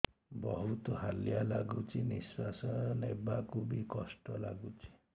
ବହୁତ୍ ହାଲିଆ ଲାଗୁଚି ନିଃଶ୍ବାସ ନେବାକୁ ଵି କଷ୍ଟ ଲାଗୁଚି